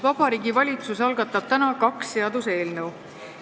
Vabariigi Valitsus algatab täna kaks seaduseelnõu.